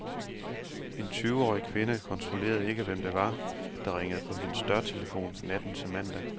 En tyveårig kvinde kontrollerede ikke, hvem det var, der ringede på hendes dørtelefon natten til mandag.